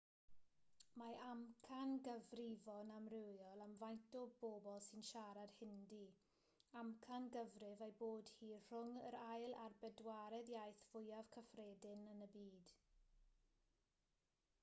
mae amcangyfrifon amrywiol am faint o bobl sy'n siarad hindi amcangyfrif ei bod hi rhwng yr ail a'r bedwaredd iaith fwyaf cyffredin yn y byd